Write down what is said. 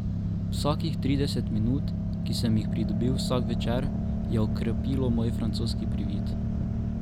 Vsakih trideset minut, ki sem jih pridobil vsak večer, je okrepilo moj francoski privid.